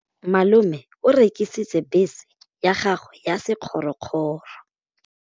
Malome o rekisitse bese ya gagwe ya sekgorokgoro.